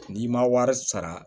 N'i ma wari sara